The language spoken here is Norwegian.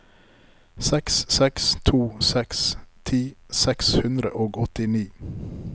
seks seks to seks ti seks hundre og åttini